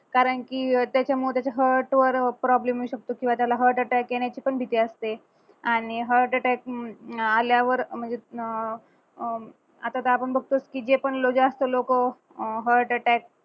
कारण की त्याच्यामुळे त्याचा heart वर problem येऊ शकतो किंवा त्याला heart attack येण्याची पण भीती असते आणि heart attack हम्म अं आल्यावर म्हणजे अह अह आता तर आपण बघतोच की जे पण जास्त लोक अह heart attack